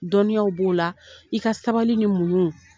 Dɔnniyaw b'o la, i ka sabali ni muɲuu.